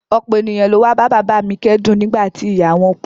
Ọ̀pọ̀ ènìyàn ló wá bá bàbá a mi kẹ́dùn nígbà tí ìyá a wọ́n kú